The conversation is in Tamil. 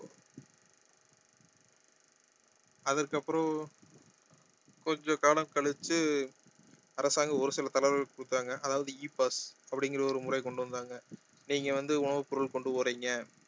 அதுக்கப்புறம் கொஞ்ச காலம் கழிச்சு அரசாங்கம் ஒரு சில தளர்வுகள் குடுத்தாங்க அதாவது E pass அப்படிங்கற ஒரு முறை கொண்டு வந்தாங்க நீங்க வந்து உணவு பொருள் கொண்டு போறீங்க